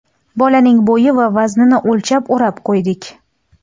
Bolaning bo‘yi va vaznini o‘lchab o‘rab qo‘ydik.